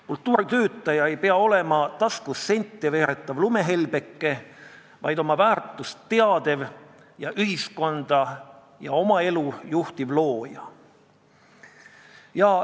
Kultuuritöötaja ei pea olema taskus sente veeretav lumehelbeke, vaid oma väärtust teadev, ühiskonda ja oma elu juhtiv looja.